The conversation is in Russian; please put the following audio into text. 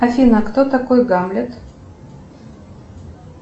афина кто такой гамлет